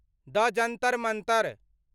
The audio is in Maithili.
द जन्तर मन्तर